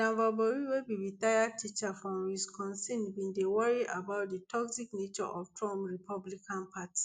dan voboril wey be retired teacher from wisconsin bin dey worry about di toxic nature of trump republican party